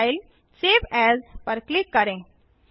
फाइलगटीजीटी save as पर click करें